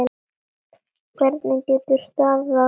Hvernig getur staðið á því.